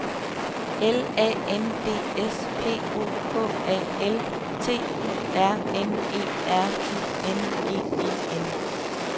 L A N D S P O K A L T U R N E R I N G E N